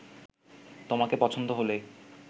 তোমাকে পছন্দ হলেই